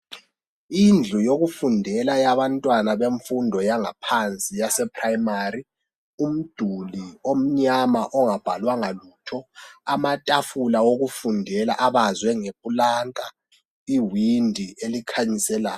Indlu yokufundela yabantwana bemfundo yangaphansi yase primary, umduli omnyama ongabhalwanga lutho, amatafula wokufundela abazwe ngeplanka, iwindi elikhanyiselayo